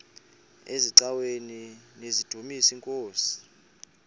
eziaweni nizidumis iinkosi